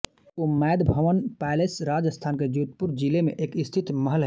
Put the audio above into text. Umaid Bhawan palace Rajasthan के जोधपुर ज़िले में स्थित एक महल है